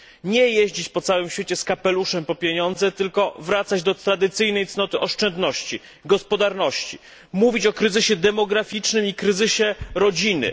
Nie jeździć po całym świecie z kapeluszem po pieniądze, tylko wracać do tradycyjnej cnoty oszczędności, gospodarności, mówić o kryzysie demograficznym i kryzysie rodziny.